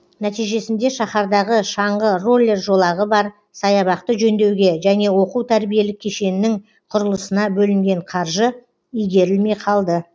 нәтижесінде шаһардағы шаңғы роллер жолағы бар саябақты жөндеуге және оқу тәрбиелік кешеннің құрылысына бөлінген қаржы игерілмей қалды